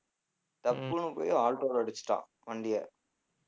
டப்புன்னு போயி alto ல அடிச்சுட்டான் வண்டியை